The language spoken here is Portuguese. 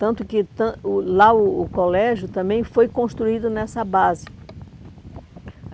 Tanto que tan o lá o o colégio também foi construído nessa base.